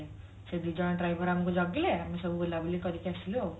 ସେ ଦି ଜଣ driver ଆମକୁ ଜଗିଲେ ଆମେ ସବୁ ବୁଲାବୁଲି କରିକି ଆସିଲୁ ଆଉ